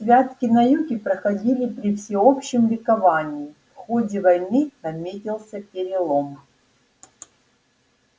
святки на юге проходили при всеобщем ликовании в ходе войны наметился перелом